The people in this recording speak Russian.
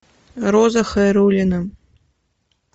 роза хайруллина